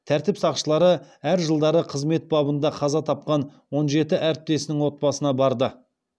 тәртіп сақшылары әр жылдары қызмет бабында қаза тапқан он жеті әріптесінің отбасына барды